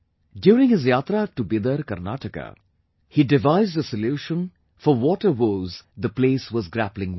During his Yatra to Bidar, Karnataka, he devised a solution for water woes the place was grappling with